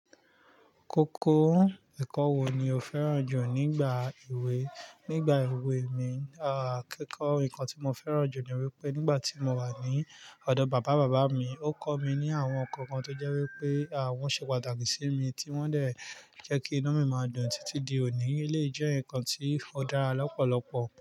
Koko, ẹ̀kọ́ wo ni o fẹ́ràn jù nígbà èwé? Nígbà èwé mi, ah, kókọ́ ǹkan tí mo fẹ́ràn jù ni wípé nígbà tí mo wà ní ọ̀dọ̀ bàbá bàbá mi, ó kọ́ mi ní àwọn ǹkan kan tó jẹ́ wípé, ah, wón ṣe pàtàkì sí mi tí wón dè jẹ́ kí inú mi máa dùn títí di òní. Elèyìí jẹ́ ǹkan tí ó dára lọ́pọ̀lọpọ̀